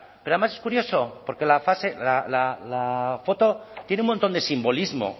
pero además es curioso porque la foto tiene un montón de simbolismo